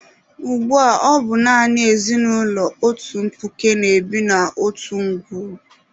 Ugbua, ọ bụ naanị ezinụlọ otu mkpuke na-ebi n'otu ngwuru.